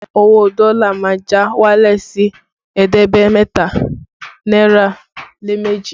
Owó dọ́lá má já wálẹ̀ sí ẹ̀ẹ́dẹ́gbẹ̀ta náírà lé méjì